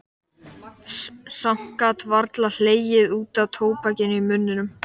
Samt gat hann varla hlegið út af tóbakinu í munninum.